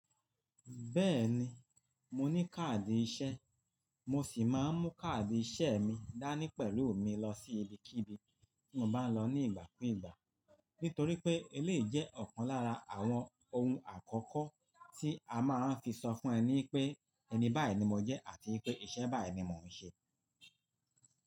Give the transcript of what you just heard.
Bẹ́ẹ̀ni, mo ní káàdì ìṣe, mo sì máa ń mú káàdì ìṣe mi dání pẹ̀lú mi lọ sí ibikíbi tí mo bá ń lọ ní ìgbà kú ìgbà. Nítorí pé eléyi jẹ́ ọ̀kan lára àwọn ohun àkọ́kọ́ tí a máa ń fi sọ fún ẹni pé ẹni báyìí ni mo jẹ́ àti pé iṣẹ́ báyìí ni mò ń ṣe.